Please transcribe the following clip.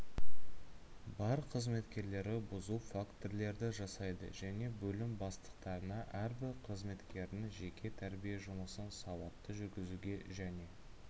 бар қызметкерлері бұзу фактілерді жасайды және бөлім бастықтарына әрбір қызметкердің жеке-тәрбие жұмысын сауатты жүргізуге және